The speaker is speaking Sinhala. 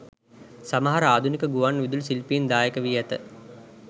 සමහර ආධුනික ගුවන් විදුලි ශිල්පීන් දායක වී ඇත